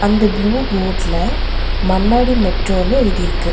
அந்த ப்ளூ போட்ல மண்ணாடி மெட்ரோனு எழுதிருக்கு.